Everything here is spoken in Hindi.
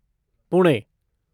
पुणे